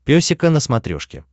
песика на смотрешке